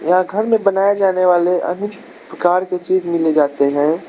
यहां घर में बनाए जाने वाले अनेक प्रकार के चीज मिले जाते हैं।